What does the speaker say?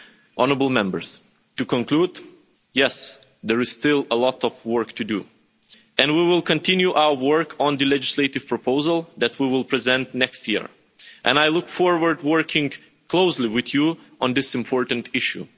Honourable Members, to conclude, yes, there is still a lot of work to do and we will continue our work on the legislative proposal that we will present next year and I look forward to working closely with you on this important issue.